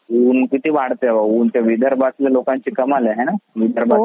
ऊन किती वाढतेय बाबा ऊन त्या विदर्भत्याला लोकांची कमालच आहे ना.